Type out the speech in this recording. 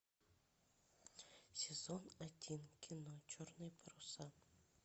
сезон один кино черные паруса